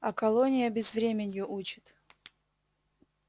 а колония безвременью учит